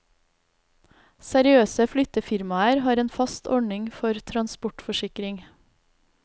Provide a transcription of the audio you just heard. Seriøse flyttefirmaer har en fast ordning for transportforsikring.